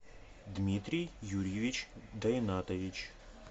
дмитрий юрьевич дайнатович